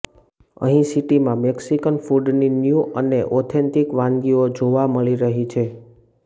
હવે સિટીમાં મેક્સિકન ફૂડની ન્યૂ અને ઓથેન્ટિક વાનગીઓ જોવા મળી રહી છે